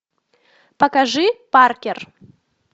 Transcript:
покажи паркер